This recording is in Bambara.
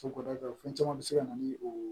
So kɔnɔ fɛn caman bɛ se ka na ni o